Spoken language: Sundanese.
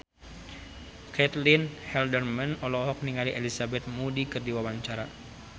Caitlin Halderman olohok ningali Elizabeth Moody keur diwawancara